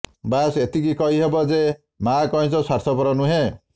ବାସ୍ ଏତିକି କହିହେବ ଯେ ମାଆ କଇଁଛ ସ୍ୱାର୍ଥପର ନୁହେଁ